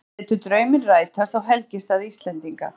Létu drauminn rætast á helgistað Íslendinga